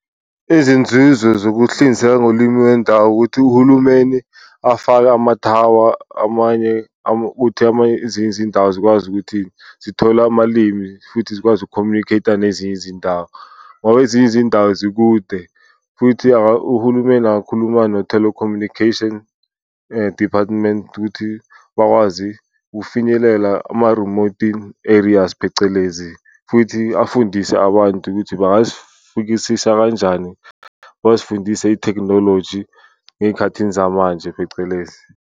Izinzuzo zokuhlinzeka ngolimi wendawo ukuthi uhulumeni afake amathawa amanye uthi amanye ezinye izindawo zikwazi ukuthi zithole amalimi futhi zikwazi uku-communicate-a nezinye izindawo. Ngoba ezinye izindawo zikude futhi uhulumeni angakhuluma no-telecommunication department ukuthi bakwazi ukufinyelela ama-remoting areas phecelezi futhi afundise abantu ukuthi bangazifikisa kanjani. Bazifundise ithekhinoloji eyikhathini zamanje phecelezi.